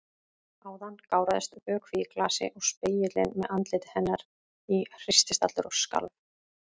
Áðan gáraðist vökvi í glasi og spegillinn með andliti hennar í hristist allur og skalf.